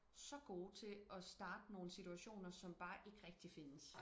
så gode til at starte nogle situationer som bare ikke rigtig findes